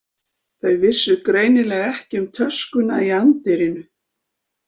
Þau vissu greinilega ekki um töskuna í anddyrinu.